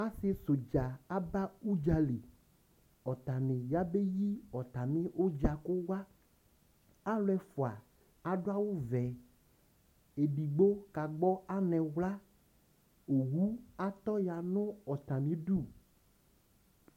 Asι sɛ ʋdza aba udzali, ɔtanι ya be yi ɔtamι ʋdza kʋ wa Alʋ ɛfʋa adʋ awʋ vɛ, edigbo ka gbɔ anɛ wlaOwu atɔ ya nʋ atamι idu